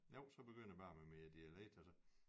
Jo så begynder jeg bare med min dialekt og så